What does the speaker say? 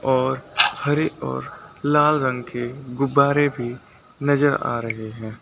और हरे और लाल रंग के गुब्बारे भी नजर आ रहे हैं।